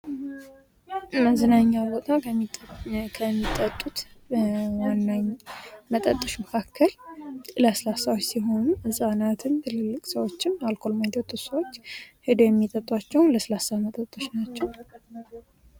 ለመዝናኛ ቦታ ከሚጠጡት ዋነኛ መጠጦች መካከል ለስላሳዎች ሲሆኑ ህፃናትን ትልልቅ ሰዎች አልኮል የማይጠጡ ሰዎች ሄደው የሚጠጡአቸው ለስላሳ መጠጦች ናቸው ::